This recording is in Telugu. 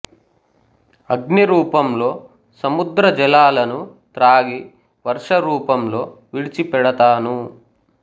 అగ్ని రూపంలో సముద్ర జలాలను త్రాగి వర్ష రూపంలో విడిచి పెడతాను